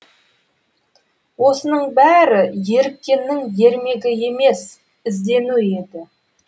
осының бәрі еріккеннің ермегі емес іздену еді